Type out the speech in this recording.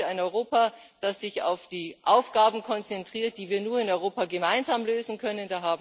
Ich möchte ein Europa, das sich auf die Aufgaben konzentriert, die wir nur in Europa gemeinsam lösen können.